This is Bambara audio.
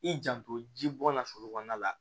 I janto ji bɔ la forokɔnɔna la